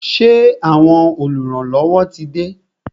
Ṣé àwọn oluranlowo tí de?